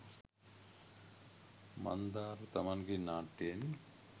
මන්දාර්ව තමන්ගේ නාට්‍යයෙන්